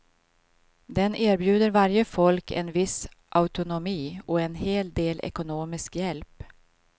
Den erbjuder varje folk en viss autonomi och en hel del ekonomisk hjälp.